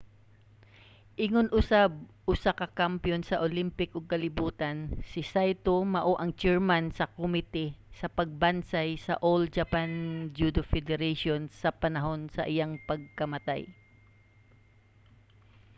ingon usab usa ka kampiyon sa olympic ug kalibutan si saito mao ang chairman sa komite sa pagbansay sa all japan judo federation sa panahon sa iyang pagkamatay